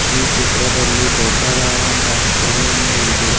ಈ ಚಿತ್ರದಲ್ಲಿ ದೊಡ್ಡದಾದಂತಹ ಕೆರೆ ಒಂದು ಇದೆ.